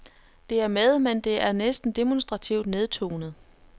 Det er med, men det er næsten demonstrativt nedtonet.